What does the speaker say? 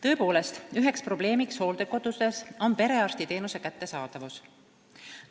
" Tõepoolest, üks probleem hooldekodudes on perearstiteenuse kättesaadavus.